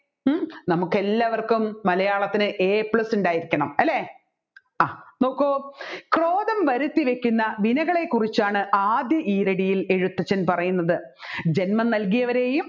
നമുക്കെല്ലാവർക്കും മലയത്തിന് A plus ഉണ്ടായിരിക്കണം ആളല്ലേ ആ നോക്കു ക്രോധം വരുത്തിവെക്കുന്ന വിനകളെ കുറിച്ചന് ആദ്യ ഈരടിയിൽ എഴുത്തച്ഛൻ പറയുന്നത് ജൻമം നല്കിയവരെയും